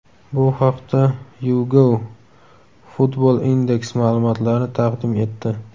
Bu haqda YouGov-FootballIndex ma’lumotlarni taqdim etdi .